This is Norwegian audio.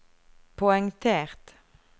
poengtert